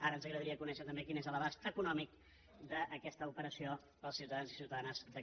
ara ens agradaria conèixer també quin és l’abast econòmic d’aquesta operació per als ciutadans i ciutadanes de catalunya